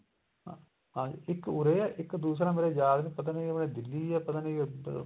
ਹਾਂਜੀ ਇੱਕ ਉਰੇ ਏ ਇੱਕ ਦੂਸਰਾ ਮੇਰੇ ਯਾਦ ਨੀ ਪਤਾ ਨੀ ਉਰੇ ਦਿੱਲੀ ਏ ਪਤਾ ਨੀ ਇੱਧਰ